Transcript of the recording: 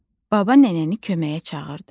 Baba nənəni köməyə çağırdı.